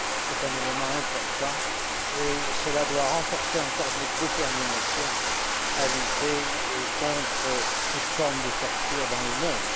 C'est un élément important et cela doit encore renforcer notre détermination à lutter contre toute forme de torture dans le monde.